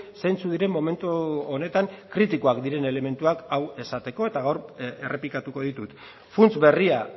zeintzuk diren momentu honetan kritikoak diren elementuak hau esateko eta gaur errepikatuko ditut funts berria